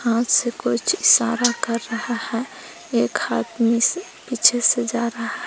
हाथ से कुछ इशारा कर रहा है एक से पीछे से जा रहा--